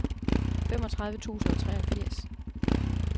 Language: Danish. femogtredive tusind og treogfirs